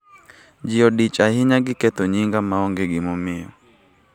Ji odich ahinya gi ketho nyinga maonge gimomiyo.